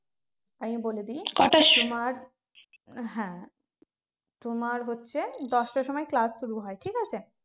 আমি বলে দিই তোমার হ্যাঁ তোমার হচ্ছে দশটার সময় class শুরু হয় ঠিক আছে